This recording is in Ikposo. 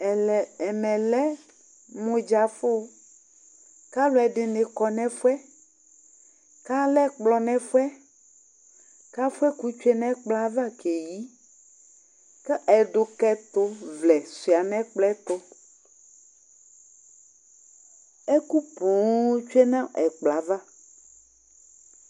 Ɛmɛ lɛ mʊɖzafʊ Kalʊɛdinɩ kɔ nɛfʊɛ, kalɛ ɛkplɔ nɛfʊɛ, kafʊɛkʊ tsʊe nɛkplɔ ava keƴɩ Kɛdʊkɛtʊvlɛ sʊa nɛkplɔ ƴɛ tʊ Ɛkʊ ƒoo tsue nɛkplɔ ava